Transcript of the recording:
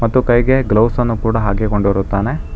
ಮತ್ತು ಕೈಗೆ ಗ್ಲೌಸ್ ಅನ್ನು ಕೂಡ ಹಾಕಿಕೊಂಡಿರುತ್ತಾನೆ.